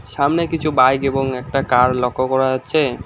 সামনে কিছু বাইক এবং একটা কার লক্ষ্য করা যাচ্ছে।